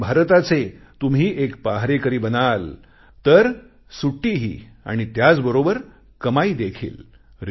नवीन भारताचे तुम्ही एक पहारेकरी बनाल तर सुट्टीही आणि त्याचबरोबर कमाई देखील